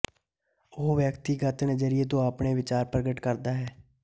ਉਹ ਵਿਅਕਤੀਗਤ ਨਜ਼ਰੀਏ ਤੋਂ ਆਪਣੇ ਵਿਚਾਰ ਪ੍ਰਗਟ ਕਰਦਾ ਹੈ